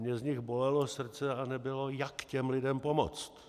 Mě z nich bolelo srdce a nebylo, jak těm lidem pomoct.